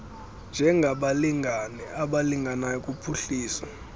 njengabalingane abalinganayo kuphuhliso